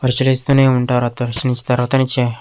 పరీసీలిస్తూనే ఉంటారు తర్వాత అయినా ఇచ్చేయ్.